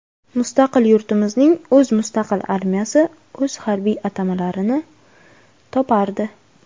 Mustaqil yurtimizning o‘z mustaqil armiyasi o‘z harbiy atamalarini topardi.